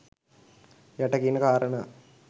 යට කියන කාරණා